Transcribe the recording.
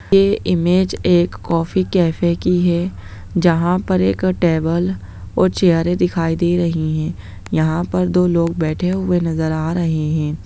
ये इमेज एक coffee cafe की है जहां पे एक टेबल और चैयरे दिखाई दे रही हैं यहाँ पर दो लोग बैठे हुए नजर आ रहे है।